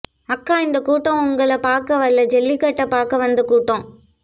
அக்கா இந்த கூட்டம் உங்கள பார்க்க வல்ல ஜல்லிக்கட்டு பார்க்க வந்த கூட்டம்